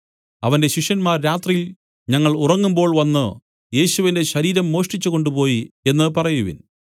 അവന്റെ ശിഷ്യന്മാർ രാത്രിയിൽ ഞങ്ങൾ ഉറങ്ങുമ്പോൾ വന്നു യേശുവിന്റെ ശരീരം മോഷ്ടിച്ചു കൊണ്ടുപോയി എന്നു പറയുവിൻ